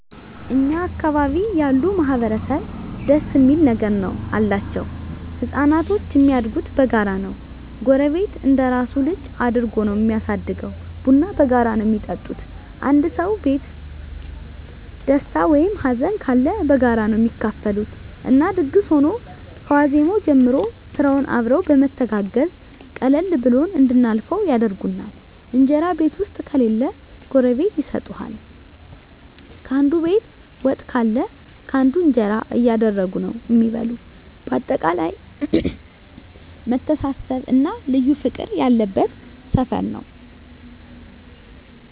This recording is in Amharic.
እኛ አካባቢ ያሉ ማህበረሰብ ደስ እሚል ነገር አላቸዉ። ህፃናቶች እሚያድጉት በጋራ ነዉ ጎረቤት እንደራሱ ልጅ አድርጎ ነዉ እሚያሳድገዉ፣ ቡና በጋራ ነዉ እሚጠጡት፣ አንዱ ሰዉ ቤት ደስታ ወይም ሀዘንም ካለ በጋራ ነዉ እሚካፈሉት እና ድግስ ሁኖ ከዋዜማዉ ጀምሮ ስራዉንም አብረዉ በመተጋገዝ ቀለል ብሎን እንድናልፈዉ ያደርጉናል። እንጀራ ቤት ዉስጥ ከሌለ ጎረቤት ይሰጡሀል፣ ካንዱ ቤት ወጥ ካለ ካንዱ እንጀራ እያደረጉ ነዉ እሚበሉ በአጠቃላይ መተሳሰብ እና ልዩ ፍቅር ያለበት ሰፈር ነዉ።